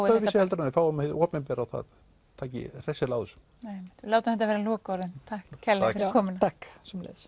öðruvísi heldur en við fáum hið opinbera og það taki hressilega á þessu við látum þetta vera lokaorðin takk kærlega fyrir komuna takk sömuleiðis